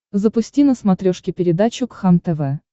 запусти на смотрешке передачу кхлм тв